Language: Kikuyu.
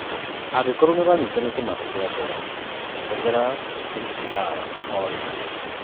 Angĩkorwo nĩuranyitwo nĩ kĩmako kĩa ngoro, hũthira CPR orĩo.